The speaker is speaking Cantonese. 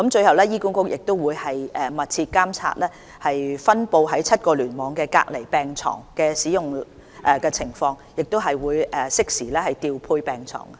醫管局亦會密切監察分布在7個聯網的隔離病床的使用情況，以便適時調配病床。